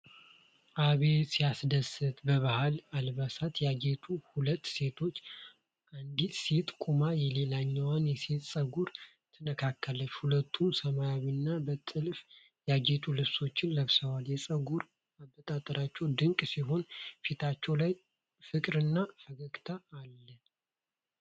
አቤት ሲያስደስት፣ በባህል አልባሳት ያጌጡ ሁለት ሴቶች። አንዲት ሴት ቆማ የሌላኛዋን ሴት ፀጉር ትነካካለች። ሁለቱም ሰማያዊና በጥልፍ ያጌጡ ልብሶችን ለብሰዋል። የፀጉር አበጣጠራቸው ድንቅ ሲሆን፣ ፊታቸው ላይ ፍቅርና ፈገግታ አለ።